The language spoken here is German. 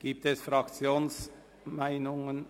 Gibt es Fraktionsmeinungen?